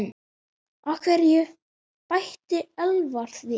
Af hverju? bætti Elvar við.